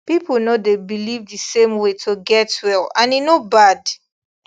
people no dey believe the same way to take get well and e no bad